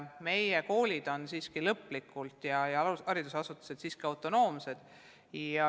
Meie koolid ja muud haridusasutused on siiski autonoomsed.